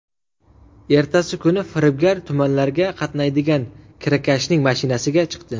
Ertasi kuni firibgar tumanlarga qatnaydigan kirakashning mashinasiga chiqdi.